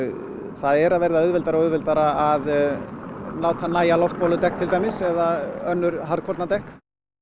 það er að verða auðveldara og auðveldara að láta nægja loftbóludekk eða önnur harðkornadekk